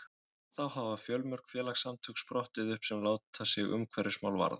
þá hafa fjölmörg félagasamtök sprottið upp sem láta sig umhverfismál varða